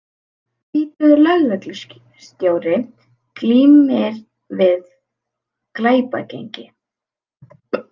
Tvítugur lögreglustjóri glímir við glæpagengi